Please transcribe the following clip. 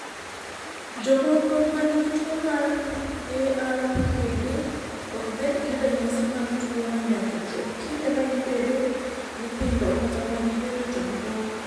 Jomoko ma nigi tuwo mar ARPKD ok bed gi ranyisi mag tuwono nyaka chop kinde ma gibedo nyithindo kata ma gibed joma dongo.